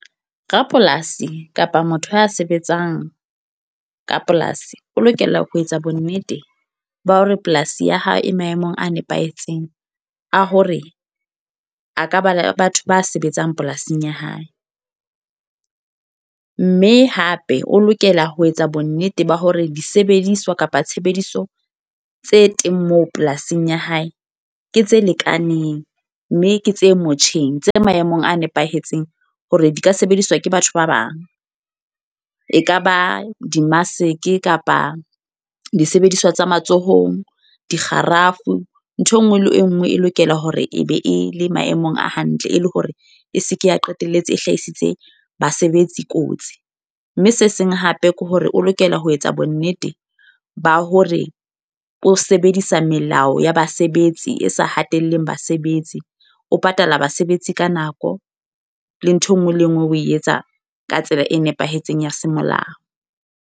Rapolasi kapa motho a sebetsang ka polasi. O lokela ho etsa bonnete ba hore polasi ya hao e maemong a nepahetseng, a hore a ka ba le batho ba sebetsang polasing ya hae. Mme hape o lokela ho etsa bonnete ba hore disebediswa kapa tshebediso tse teng moo polasing ya hae, ke tse lekaneng. Mme ke tse motjheng, tse maemong a nepahetseng hore di ka sebediswa ke batho ba bang. E kaba di-mask kapa disebediswa tsa matsohong, dikgarafu. Nthwe nngwe le e nngwe e lokela hore e be e le maemong a hantle e le hore e seke ya qetelletse e hlahisitse basebetsi kotsi. Mme se seng hape ke hore o lokela ho etsa bonnete ba hore o sebedisa melao ya basebetsi, e sa hatelleha basebetsi. O patala basebetsi ka nako, le nthwe ngwe le e nngwe o e etsa ka tsela e nepahetseng ya semolao.